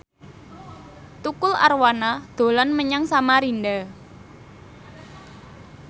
Tukul Arwana dolan menyang Samarinda